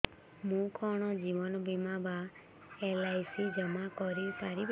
ମୁ କଣ ଜୀବନ ବୀମା ବା ଏଲ୍.ଆଇ.ସି ଜମା କରି ପାରିବି